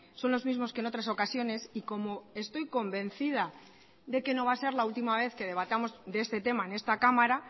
son los mismos que en otras ocasiones y como estoy convencida de que no va a ser la última vez que debatamos de este tema en esta cámara